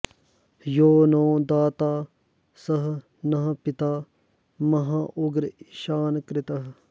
यो नो दाता स नः पिता महाँ उग्र ईशानकृत्